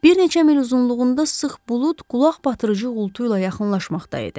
Bir neçə mil uzunluğunda sıx bulud qulaq batırıcı uğultu ilə yaxınlaşmaqda idi.